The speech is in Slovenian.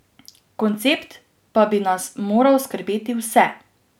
Koncept pa bi nas moral skrbeti vse!